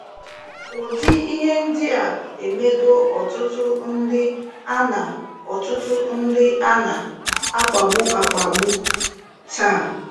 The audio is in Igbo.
Ụdị ihe ndịa emego ọtụtụ ndị ana ọtụtụ ndị ana - akpagbu akpagbu taa.